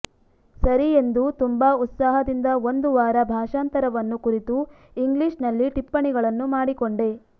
ಸರಿ ಎಂದು ತುಂಬಾ ಉತ್ಸಾಹದಿಂದ ಒಂದು ವಾರ ಭಾಷಾಂತರವನ್ನು ಕುರಿತು ಇಂಗ್ಲೀಷ್ನಲ್ಲಿ ಟಿಪ್ಪಣಿಗಳನ್ನು ಮಾಡಿಕೊಂಡೆ